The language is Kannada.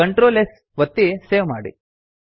Ctrl S ಒತ್ತಿ ಸೇವ್ ಮಾಡಿ